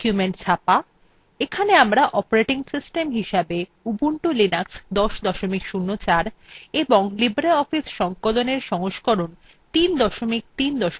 এখানে আমরা operating system হিসেবে ubuntu linux ০৪ এবং libreoffice সংকলনএর সংস্করণ ৩ ৩ ৪ ব্যবহার করছি